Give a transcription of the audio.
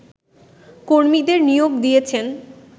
কর্মীদের নিয়োগ দিয়েছেন